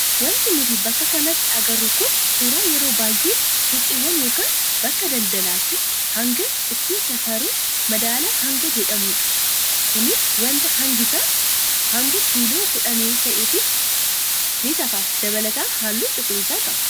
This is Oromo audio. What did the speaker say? Wanti nuti bakka kanatti agarru kun suuraa yeroo baay'ee suuqiiwwan yookaan bakka daldalaatti hanga ittiin safarru madaala hangaa jedhamudha. Kunis wanta hangisaa haga kiiloo kudhanii ta'e ni safara dabalataan halluu cuquliisa qaba.